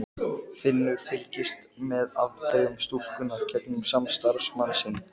Finnur fylgdist með afdrifum stúlkunnar gegnum samstarfsmann sinn.